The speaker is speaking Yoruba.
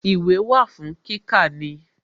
Ìwé wà fún kíkà ni